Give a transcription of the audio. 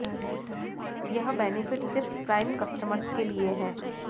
यह बेनिफिट सिर्फ prime customers के लिए हैं